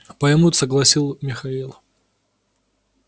поймут согласил михаил